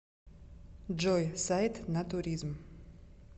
джой сайт натуризм